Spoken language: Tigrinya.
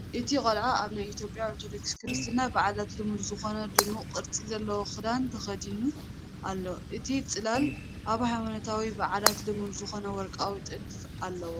እቲ ቆልዓ ኣብ ናይ ኢትዮጵያ ኦርቶዶክስ ክርስትና በዓላት ልሙድ ዝዀነ ድሙቕ ቅርጺ ዘለዎ ኽዳን ተኸዲኑ ኣሎ። እቲ ጽላል ኣብ ሃይማኖታዊ በዓላት ልሙድ ዝኮነ ወርቃዊ ጥልፍ ኣለዎ።